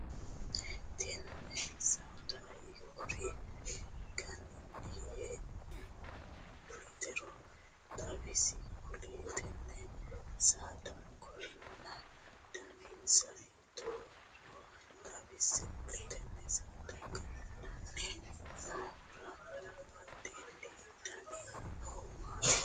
Tenne saada hiikura gananni hee'noonnitero xawise kuli? Tenne saada kiironna daninsa hiitoohoro xawise kuli? Tenne saada gananni noohura badheenni danni noohu maati?